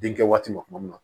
Denkɛ waati ma tuma min na